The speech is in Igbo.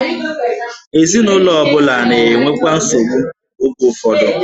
Ezinụlọ ọ bụla na-enwekwa nsogbu oge ụfọdụ.